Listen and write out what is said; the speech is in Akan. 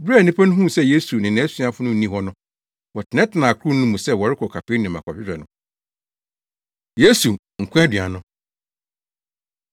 Bere a nnipa no huu sɛ Yesu ne nʼasuafo no nni hɔ no, wɔtenatenaa akorow no mu sɛ wɔrekɔ Kapernaum akɔhwehwɛ no. Yesu, Nkwa Aduan No